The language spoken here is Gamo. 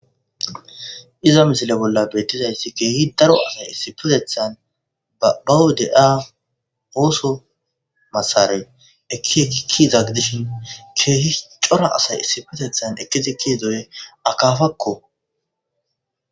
Iza misile bolla beettizayssi keehi daro asay issipetethan bawu de'a ooso asara ekki ekikkizagi dishin keehi cora asay issitetethan ekidi ke'idoy akafakko.